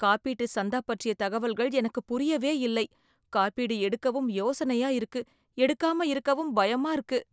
காப்பீட்டு சந்தா பற்றிய தகவல்கள் எனக்கு புரியவே இல்லை. காப்பீடு எடுக்கவும் யோசனையா இருக்கு. எடுக்காம இருக்கவும் பயமா இருக்கு.